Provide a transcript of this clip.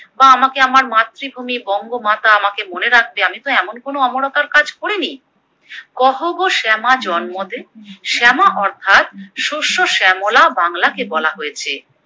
বা আমাকে আমার মাতৃভূমি বঙ্গমাতা আমাকে মনে রাখবে আমিতো এমন কোনো অমরতার কাজ করিনি, কহ গো শ্যামা জন্মদে, শ্যামা অর্থাৎ শস্য শ্যামলা বাংলাকে বলা হয়েছে।